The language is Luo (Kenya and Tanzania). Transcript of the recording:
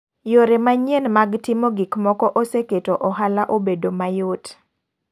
Yore manyien mag timo gik moko oseketo ohala obedo mayot .